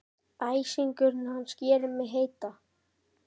Æsingur hans gerir mig heita.